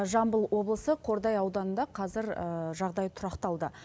жамбыл облысы қордай ауданында қазір жағдай тұрақталды